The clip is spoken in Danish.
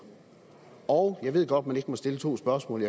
og jeg ved godt at man ikke må stille to spørgsmål